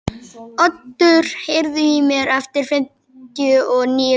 Otur, heyrðu í mér eftir fimmtíu og níu mínútur.